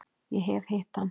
Ég hef hitt hann.